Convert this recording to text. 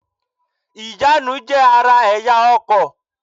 Ìjánu jé ara èyá ọkò